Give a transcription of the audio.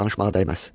Danışmağa dəyməz.